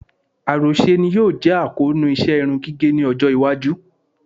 Àròṣe ni yóò jẹ́ àkóónú iṣẹ́ irun gígẹ̀ ní ọjọ́-iwájú.